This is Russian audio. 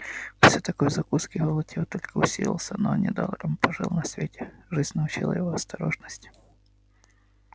после такой закуски голод его только усилился но он недаром пожил на свете жизнь научила его осторожности